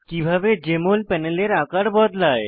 কিভাবে জেএমএল প্যানেলের আকার বদলায়